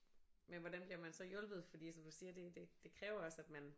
Men hvordan bliver man så hjulpet fordi som du siger det det det kræver også at man